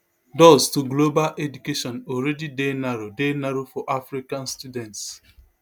doors to global education alreadi dey narrow dey narrow for african students